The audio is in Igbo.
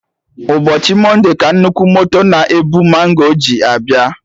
Ụbọchị monde ka nnukwu moto na-ebu mango ji abịa